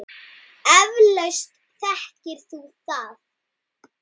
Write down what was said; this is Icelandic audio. Eflaust þekkir þú það.